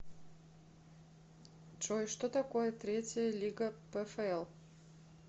джой что такое третья лига пфл